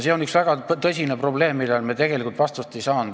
See on üks väga tõsine probleem, millele me tegelikult vastust ei saanud.